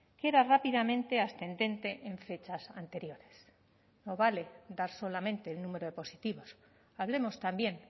que era rápidamente ascendente en fechas anteriores no vale dar solamente el número de positivos hablemos también